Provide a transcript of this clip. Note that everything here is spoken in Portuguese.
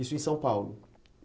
Isso em São Paulo?